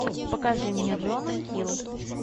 покажи мне джона хилл